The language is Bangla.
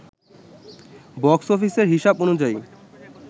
বক্স অফিসের হিসাব অনুযায়ী